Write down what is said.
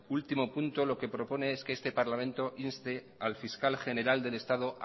último punto lo que propone es que este parlamento inste al fiscal general del estado